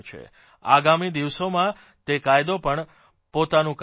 આગામી દિવસોમાં તે કાયદો પણ પોતાનું કામ કરશે